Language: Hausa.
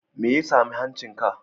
Me ya sami hancinka?